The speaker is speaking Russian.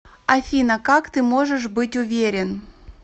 афина как ты можешь быть уверен